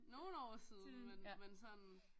Nogle år siden men men sådan